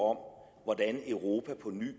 hvordan europa på ny